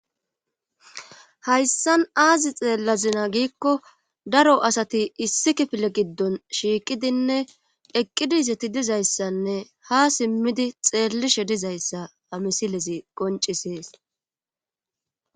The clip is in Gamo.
Hayssan aazi xeellazina giikko daro asati issi kifile giddon shiiqidinne eqqidizeti dizayssanne ha simmidi xeellishe dizayssa ha misilezi qoncisees.